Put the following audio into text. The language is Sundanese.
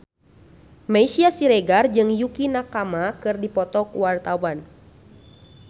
Meisya Siregar jeung Yukie Nakama keur dipoto ku wartawan